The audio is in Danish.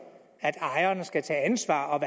at ejerne skal tage ansvar og